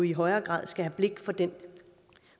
i højere grad skal have blik for den